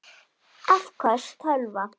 Afköst tölva